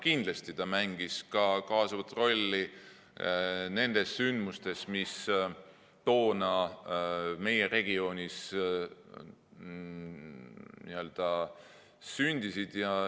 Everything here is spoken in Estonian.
Kindlasti mängis ta ka kaasavat rolli nendes sündmustes, mis toona meie regioonis n‑ö sündisid.